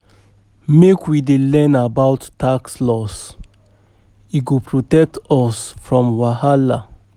Make we dey learn about tax laws, e go protect us from wahala.